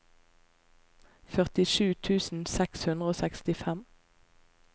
førtisju tusen seks hundre og sekstifem